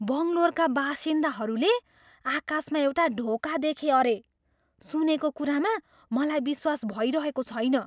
बङ्गलोरका बासिन्दाहरूले आकाशमा एउटा ढोका देखे अरे! सुनेको कुरामा मलाई विश्वास भइरहेको छैन!